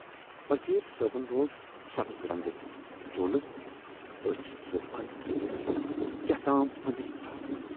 فقیٖر صٲبن لوگ سبز رنگُک چولہٕ تہٕ ٲچھۍ زٕ بَند کٔرِتھ ہیوتُن کیاہتام ٲندری پَرُن۔